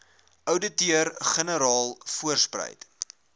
ouditeur generaal voortspruit